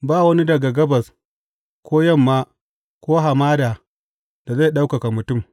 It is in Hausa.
Ba wani daga gabas ko yamma ko hamada da zai ɗaukaka mutum.